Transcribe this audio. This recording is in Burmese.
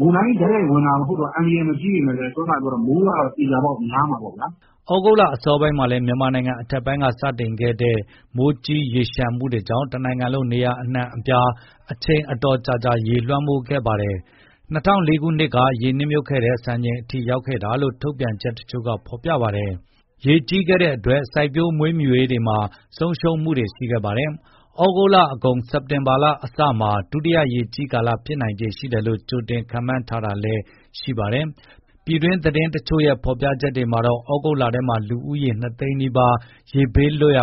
မုန်တိုင်းတိုက်ရိုက် ဝင်တာမဟုတ်လို့ အန္တရာယ်မကြီးပေမဲ့လည်းမိုးကတော့ သေချာပေါက် များမှာပေါ့ဗျာ။" ဩဂုတ်လ အစောပိုင်းမှာလည်း မြန်မာနိုင်ငံအထက်ပိုင်းက စတင်ခဲ့တဲ့ မိုးကြီး ရေလျှံမှုတွေကြောင့် တနိုင်ငံလုံး နေရာအနှံ့အပြားမှာ အချိန်ကြာကြာ ရေလွှမ်းမိုးခဲ့ပါတယ်။ ၂၀၀၄ ခုနှစ်က ရေနစ်မြုပ်ခဲ့တဲ့စံချိန်အထိကို ရောက်ခဲ့တာလို့ထုတ်ပြန်ချက်တချို့က ဖော်ပြထားပါတယ်။ တလလုံးနီးပါး ရေကြီးခဲ့လို့ စိုက်ပျိုး၊ မွေးမြူရေးမှာ ဆုံးရှုံးမှုတွေလည်း ရှိခဲ့ပါတယ်။ ဩဂုတ်လအကုန် စက်တင်ဘာအစမှာ ဒုတိယ ရေကြီးကာလ ဖြစ်နိုင်ခြေရှိတယ်လို့ ကြိုတင်ခန့်မှန်းထားတာလည်း ရှိပါတယ်။ ပြည်တွင်း သတင်းတချို့ရဲ့ ဖော်ပြချက်အရ ဩဂုတ်လထဲမှာ လူဦးရေ ၂ သိန်းနီးပါး ရေဘေးလွတ်ရာ